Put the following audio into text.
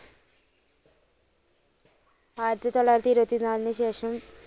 ആയിരത്തിതൊള്ളായിരത്തി ഇരുപത്തിനാലിന് ശേഷം